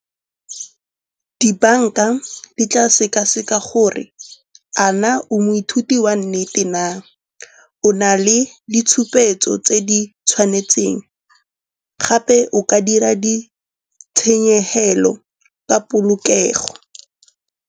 Dibanka di tla sekaseka gore a na o moithuti wa nnete na. O na le ditshupetso tse di tshwanetseng gape o ka dira ditshenyegelo ka polokego.